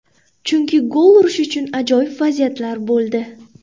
Chunki gol urish uchun ajoyib vaziyatlar bo‘ldi.